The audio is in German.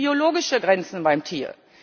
Denn es gibt biologische Grenzen beim Tier.